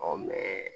mɛ